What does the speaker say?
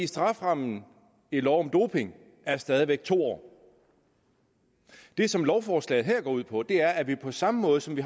strafferammen i lov om doping er stadig væk to år det som lovforslaget her går ud på er at vi på samme måde som